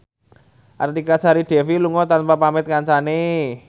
Artika Sari Devi lunga tanpa pamit kancane